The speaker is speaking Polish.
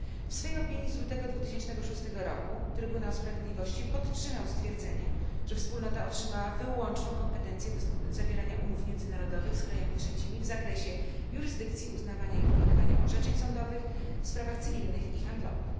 W swej opinii z lutego 2006 roku Trybunał Sprawiedliwości stwierdził, że Wspólnota otrzymała wyłączną kompetencję do zawierania umów międzynarodowych z krajami trzecimi w zakresie jurysdykcji, uznawania i wykonywania orzeczeń sądowych w sprawach cywilnych i handlowych.